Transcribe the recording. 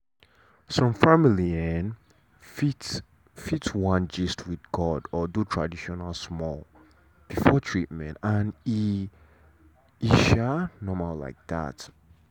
some family um fit fit wan gist with god or do tradition small before treatment and e um normal like that.